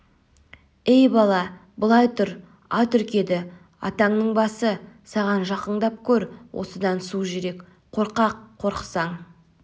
ей бала былай тұр ат үркеді атаңның басы саған жақыңдап көр осыдан су жүрек қорқақ қорықсаң